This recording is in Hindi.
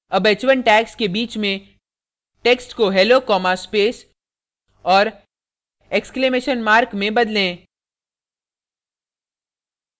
अब h1 tags के बीच में text को hello comma space और exclamation mark में बदलें